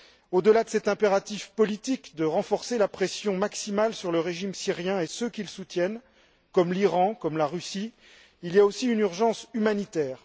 Au delà de cet impératif politique de renforcer la pression maximale sur le régime syrien et ceux qui le soutiennent, comme l'Iran, comme la Russie, il y a aussi une urgence humanitaire.